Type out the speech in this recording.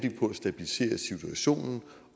sige